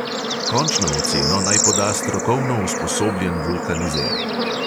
Končno oceno naj poda strokovno usposobljen vulkanizer.